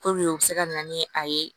u bɛ se ka na ni a ye